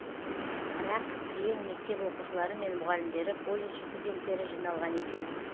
бірақ кілең мектеп оқушылары мен мұғалімдері колледж студенттері жиналған екен